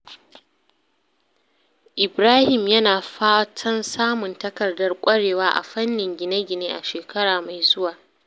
Ibrahim yana fatan samun takardar ƙwarewa a fannin gine-gine a shekara mai zuwa.